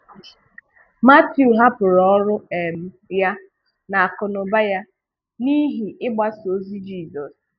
Matiu hapụrụ ọrụ um ya na akụ́nụ́bà ya n’ihi ịgbàso Jizọs.